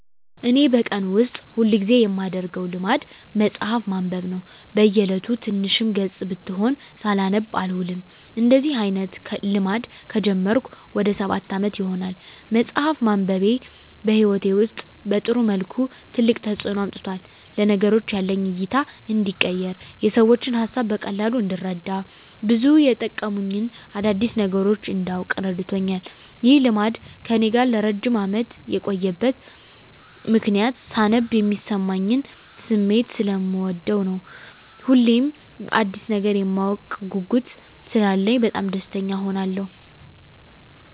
እኔ በቀን ውስጥ ሁል ጊዜ የማደረገው ልማድ መጽሀፍ ማንበብ ነው። በ እየለቱ ትንሽም ገፅ ብትሆን ሳላነብ አልውልም። እንደዚህ አይነት ልማድ ከጀመርኩ ወደ ሰባት አመት ይሆናል። መፅሃፍ ማንበቤ በህይወቴ ውስጥ በጥሩ መልኩ ትልቅ ተፅዕኖ አምጥቷል። ለነገሮች ያለኝ እይታ እንዲቀየር፣ የሰዎችን ሀሳብ በቀላሉ እንድረዳ፣ ብዙ የመጠቅሙኝን አዳዲስ ነገሮች እንዳውቅ እረድቶኛል። ይህ ልማድ ከእኔ ጋር ለረጅም አመት የቆየበት ምክንያትም ሳነብ የሚሰማኝን ስሜት ሰለምወደው ነው። ሁሌም አዲስ ነገር የማወቅ ትልቅ ጉጉት ስላለኝ በጣም ደስተኛ እሆናለሁ።